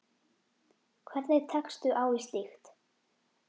Hvernig tekstu á við slíkt?